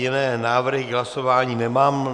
Jiné návrhy k hlasování nemám.